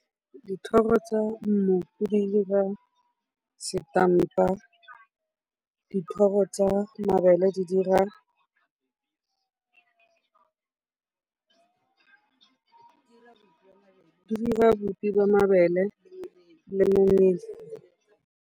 Dithoro tsa mmopo di dira setampa, dithoro tsa mabele di dira bopi jwa mabele le momela.